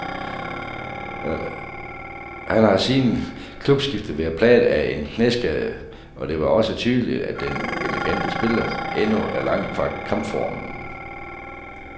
Han har siden klubskiftet været plaget af en knæskade, og det var da også tydeligt, at den elegante spiller endnu er langt fra kampformen.